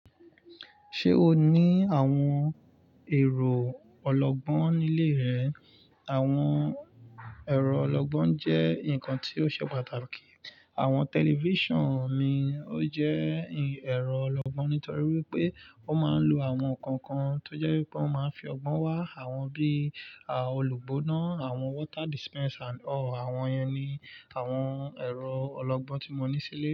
Ṣé o ní àwọn ẹ̀rọ ọlọ́gbọ́n nílé rẹ? Àwọn ẹ̀rọ ọlọ́gbọ́n jẹ́ nǹkan tí ó ṣe pàtàkì. Àwọn tẹlifíṣàn mi ò jẹ́ ẹ̀rọ ọlọ́gbọ́n, nítorí wípé ó máa ń lo àwọn nǹkan kan tó jẹ́ wípé ó máa ń fi ọgbọ́n wá. Àwọn bí i olùgbóná, àwọn water dispensers ọ̀ọ̀ àwọn yẹn ni àwọn ẹ̀rọ ọlọ́gbọ́n tí mo ní sílé.